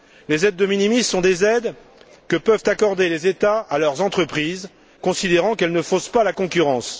Les aides de minimis sont des aides que peuvent accorder les États à leurs entreprises considérant qu'elles ne faussent pas la concurrence.